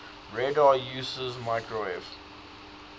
radar uses microwave